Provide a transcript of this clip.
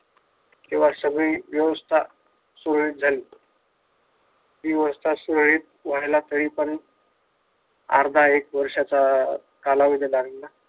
तेव्हा सगळी व्यवस्था सुरळीत झाली. ती व्यवस्था सुरळीत व्हायला तरीपण अर्धा एक वर्षाचा कालावधी लागला.